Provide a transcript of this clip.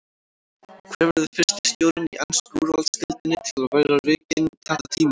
Hver verður fyrsti stjórinn í ensku úrvalsdeildinni til að vera rekinn þetta tímabilið?